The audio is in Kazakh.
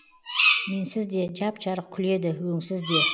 менсіз де жап жарық күледі өңсіз де